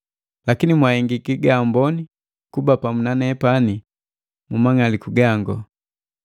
Lakini, mwahengiki gaamboni kuba pamu na nepani mumang'aliku gango.